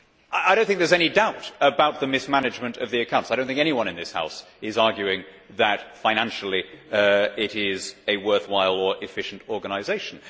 I do not think there is any doubt about the mismanagement of its accounts. I do not think anyone in this House is arguing that, financially, it is a worthwhile or efficient organisation.